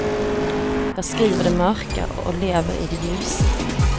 Jag skriver det mörka och lever i det ljusa.